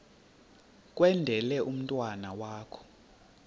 kwendele umntwana wakho